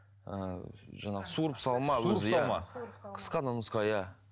ыыы жаңағы суырып салма қысқа да нұсқа иә